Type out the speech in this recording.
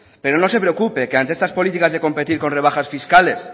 pero no se preocupe que ante estas políticas de competir con rebajas fiscales